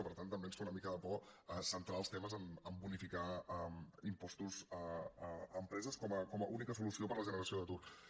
per tant també ens fa una mica de por centrar els temes a bonificar amb impostos empreses com a única solució per a la generació d’ocupació